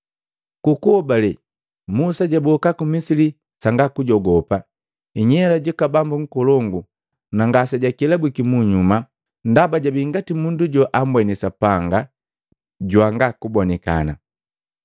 Ku kuhobale Musa jaboka ku Misili sanga kujogopa inyela juku bambu nkolongu, na ngase jakelabwiki munyuma, ndaba jabii ngati mundu joambweni Sapanga janga kubonikana.